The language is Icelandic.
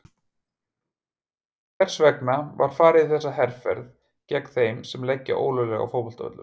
Hvers vegna var farið í þessa herferð gegn þeim sem leggja ólöglega á fótboltavöllum?